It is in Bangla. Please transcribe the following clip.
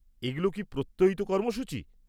এগুলো কি প্রত্যয়িত কর্মসূচী?